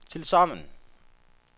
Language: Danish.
tilsammen